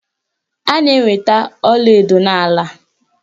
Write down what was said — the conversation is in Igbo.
A na-enweta ọlaedo n'ala